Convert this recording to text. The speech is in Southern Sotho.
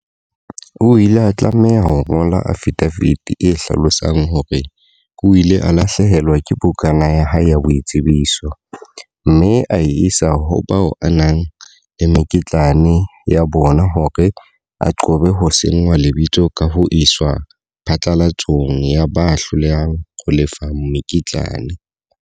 O ile a tlameha ho ngola afidafiti e hlalosang hore o ile a lahlehelwa ke bukana ya hae ya boitsebiso, mme a e isa ho bao a nang le mekitlane ya bona hore a qobe ho senngwa lebitso ka ho iswa phatlalatsong ya ba hlolehang ho lefa mekitlane.